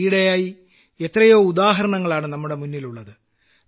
ഈയിടെയായി എത്രയോ ഉദാഹരണങ്ങളാണ് നമ്മുടെ മുന്നിലുള്ളത്